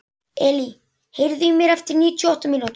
Elí, heyrðu í mér eftir níutíu og átta mínútur.